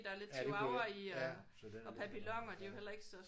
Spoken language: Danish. Ja det kunne ikke ja så den er ikke så stor